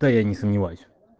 да я не сомневаюсь